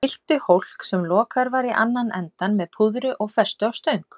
Þeir fylltu hólk, sem lokaður var í annan endann, með púðri og festu á stöng.